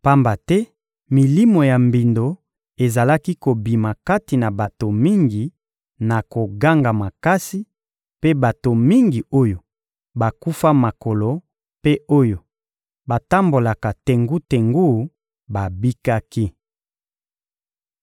Pamba te milimo ya mbindo ezalaki kobima kati na bato mingi na koganga makasi, mpe bato mingi oyo bakufa makolo mpe oyo batambolaka tengu-tengu babikaki.